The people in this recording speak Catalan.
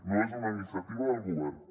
no és una iniciativa del govern